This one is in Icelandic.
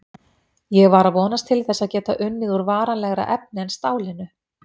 Ég var að vonast til þess að geta unnið úr varanlegra efni en stálinu.